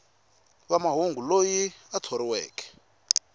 wa mahungu loyi a thoriweke